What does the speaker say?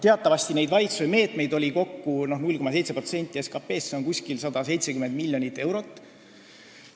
Teatavasti on nende valitsuse meetmete maht kokku 0,7% SKT-st, see on umbes 170 miljonit eurot.